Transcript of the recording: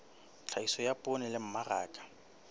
tlhahiso ya poone le mmaraka